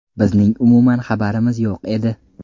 Bizning umuman xabarimiz yo‘q edi”.